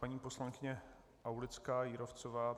Paní poslankyně Aulická Jírovcová.